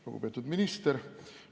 Lugupeetud minister!